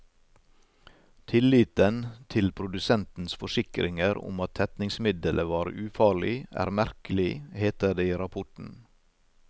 Tilliten til produsentens forsikringer om at tetningsmiddelet var ufarlig, er merkelig, heter det i rapporten.